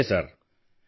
ನಮಸ್ತೆ ಸರ್